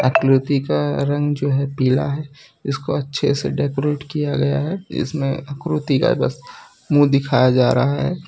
कृति का रंग जो है पीला है इसको अच्छे से डेकोरेट किया गया है इसमें आकृति का बस मुंह दिखाई जा रहा है।